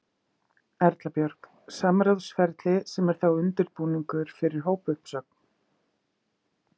Erla Björg: Samráðsferli sem er þá undirbúningur fyrir hópuppsögn?